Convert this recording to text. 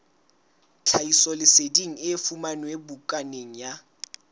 tlhahisoleseding e fumanwe bukaneng ya